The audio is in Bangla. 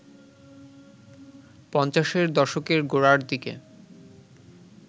পঞ্চাশের দশকের গোড়ার দিকে